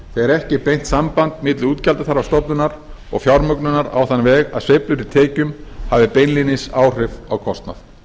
þegar ekki er beint samband milli útgjaldaþarfar stofnunar og fjármögnunar á þann veg að sveiflur í tekjum hafi beinlínis áhrif á kostnað